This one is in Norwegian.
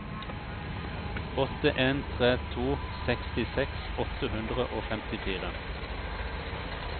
åtte en tre to sekstiseks åtte hundre og femtifire